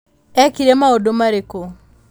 Eekire maũndũ marĩkũ?'